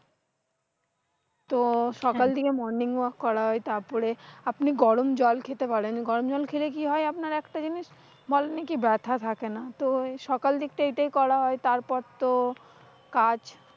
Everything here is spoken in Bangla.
তো সকাল দিকে morning work করা হয়। তারপরে আপনি গরম জল খেতে পারেন, গরম জল খেলে কি হয় একটা জিনিস, বলে নাকি ব্যথা থাকে না। তো সকাল দিকটা এটাই করা হয়, তারপর তো কাজ।